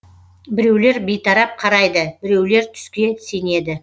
біреулер бейтарап қарайды біреулер түске сенеді